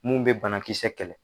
Mun bɛ banakisɛ kɛlɛ